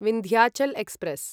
Vindhyachal express